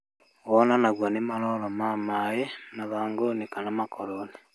Wonanagio nĩ maroro ma maaĩ mathangũinĩ kana makoroinĩ